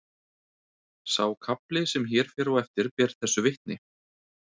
Sá kafli sem hér fer á eftir ber þessu vitni